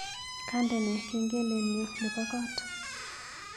Kandene kengelenyu nebo koot